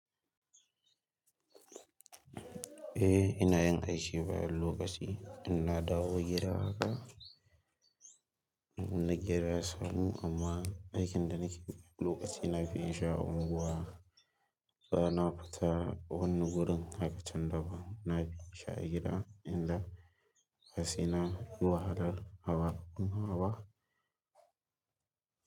Eh ina yin aiki bayan lokaci, ina dawo gida haka. Na gera salo amma aikina nake lokaci na fi in sha unguwa. Bayan na fita wannan wurin haka can da ba. Na fi sha gida idan hassina ruwa haral haba kun haba.